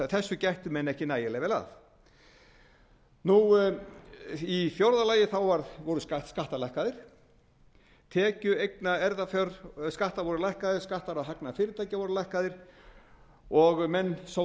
þessu gættu menn ekki nægilega vel að fjórða skattar voru lækkaðir tekju eignar og erfðafjárskattar voru lækkaðir skattar á hagnaði fyrirtækja voru lækkaðir menn sögðu að